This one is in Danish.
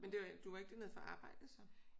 Men det var ikke du var ikke dernede for at arbejde så?